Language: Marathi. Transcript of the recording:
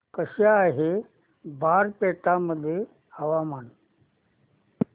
कसे आहे बारपेटा मध्ये हवामान